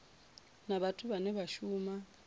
na vhathu vhane vha shuma